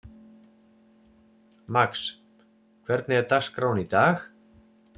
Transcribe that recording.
Max, hvernig er dagskráin í dag?